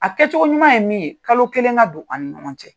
A kɛcogo ɲuman ye min ye kalo kelen ka don ani ɲɔgɔn cɛ.